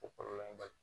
O kɔrɔ ye bali